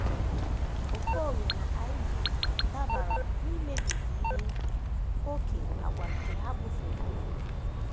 Okolie na Iv dabara n’imebiga ihe ókè àgwà nke ha bufeere ụmụ ha.